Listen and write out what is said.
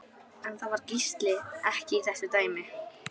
En það var Gísli ekki í þessu dæmi.